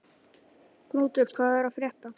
Knútur, hvað er að frétta?